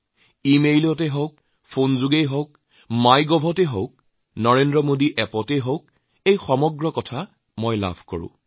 email হওঁক ফোনযোগে হওঁক মাই গভ পৰ্টেল হওঁক নৰেন্দ্ৰ মোদী এপৰ জৰিয়তেই হওঁক ইমান কথা মোলৈ আহে ইয়াৰ অধিকাংশই মোক উৎসাহ দিয়ে